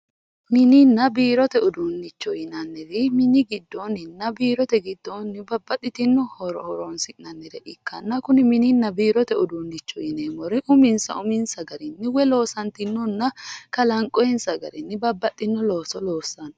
Mininna biirote uduunicho yinnanniri mini giddoninna biirote giddoni babbaxitino horo horonsi'nanire ikkanna kuni mininna biirote uduunicho yineemmore uminsa uminsa garinni woyi loossatinonna kalanqonsa garinni babbaxino looso loossano.